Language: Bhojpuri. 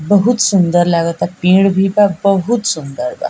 बहुत सुन्दर लागता पड़े भी बा बहुत सुन्दर बा।